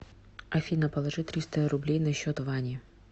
афина положи триста рублей на счет вани